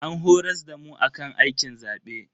An horas damu akan aikin zabe.